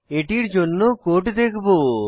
এটির জন্য কোড দেখবো